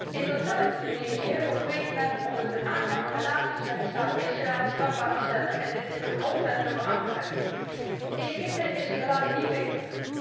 In datzelfde Tunesië overweegt men om het aangaan van relaties met de staat Israël strafbaar te stellen en dit in de grondwet te verankeren. In Egypte is het helaas niet beter.